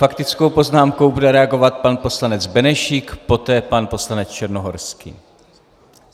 Faktickou poznámkou bude reagovat pan poslanec Benešík, poté pan poslanec Černohorský.